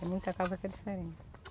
Tem muita casa que é diferente.